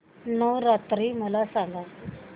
नवरात्री मला सांगा